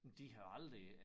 Men det havde aldrig